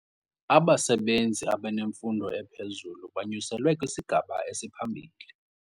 Abasebenzi abanemfundo ephezulu banyuselwe kwisigaba esiphambili.